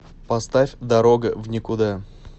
поставь дорога в никуда